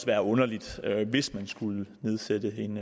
være underligt hvis der skulle nedsættes en